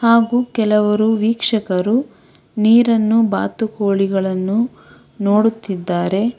ಹಾಗು ಕೆಲವರು ವೀಕ್ಷಕರು ನೀರನ್ನು ಬಾತುಕೋಳಿಗಳನ್ನು ನೋಡುತ್ತಿದ್ದಾರೆ.